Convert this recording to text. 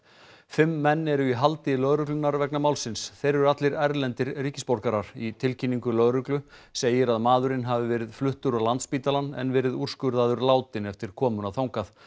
fimm menn eru í haldi lögreglunnar vegna málsins þeir eru allir erlendir ríkisborgarar í tilkynningu lögreglu segir að maðurinn hafi verið fluttur á Landspítalann en verið úrskurðaður látinn eftir komuna þangað